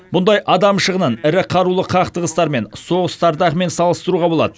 бұндай адам шығынын ірі қарулы қақтығыстар мен соғыстардағымен салыстыруға болады